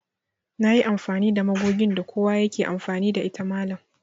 Nayi amfani da magogin da kowa yake amfani da ita mallam